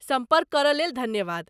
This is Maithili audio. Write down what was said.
सम्पर्क करयलेल धन्यवाद।